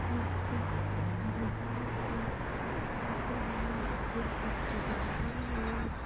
एक बाजर हैं बि के माइन एक सब्जी की दुकान है।